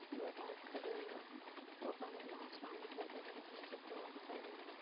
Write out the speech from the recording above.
दो बाइक खड़े हुए हैं| ऊपर नीला आसमान दिखाई दे रहा है नीचे फ्लोर दिखाई दे रहा है।